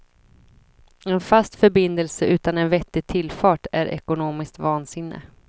En fast förbindelse utan en vettig tillfart är ekonomiskt vansinne.